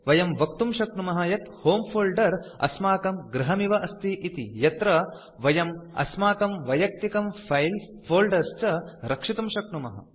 वयं वक्तुं शक्नुमः यत् होमे फोल्डर अस्माकं गृहमिव अस्ति इति यत्र वयं अस्माकं वैयक्तिकं फाइल्स् फोल्डर्स् च रक्षितुं शक्नुमः